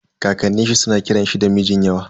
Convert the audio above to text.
Kakanin shi suna kiran shi da Mijinyawa.